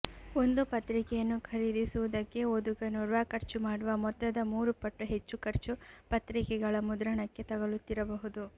ಒಂದು ಪತ್ರಿಕೆಯನ್ನು ಖರೀದಿಸುವುದಕ್ಕೆ ಓದುಗನೋರ್ವ ಖರ್ಚು ಮಾಡುವ ಮೊತ್ತದ ಮೂರು ಪಟ್ಟು ಹೆಚ್ಚು ಖರ್ಚು ಪತ್ರಿಕೆಗಳ ಮುದ್ರಣಕ್ಕೆ ತಗಲುತ್ತಿರಬಹುದು